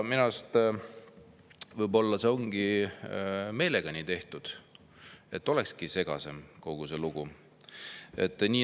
Võib-olla on see meelega nii tehtud, et kogu lugu olekski segasem.